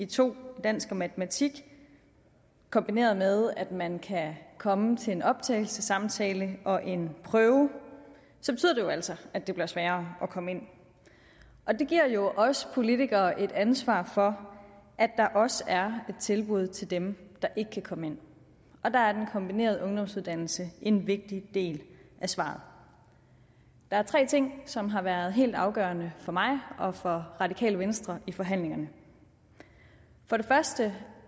to i dansk og matematik kombineret med at man kan komme til en optagelsessamtale og en prøve så betyder altså at det bliver sværere at komme ind og det giver jo os politikere et ansvar for at der også er et tilbud til dem der ikke kan komme ind og der er den kombinerede ungdomsuddannelse en vigtig del af svaret der er tre ting som har været helt afgørende for mig og for radikale venstre i forhandlingerne for det første